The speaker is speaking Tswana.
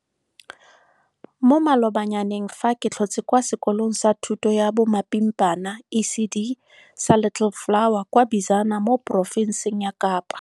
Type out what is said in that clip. Mo malobanyaneng fa ke tlhotse kwa sekolong sa thuto ya bomapimpana ECD sa Little Flower kwa Bizana mo porofenseng ya Kapa.